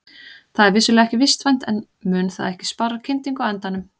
Það er vissulega ekki vistvænt en mun það ekki spara kyndingu á endanum?